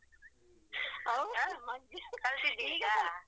ಕಲ್ತಿದ್ಯ ಈಗ